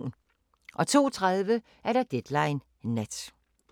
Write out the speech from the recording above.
02:30: Deadline Nat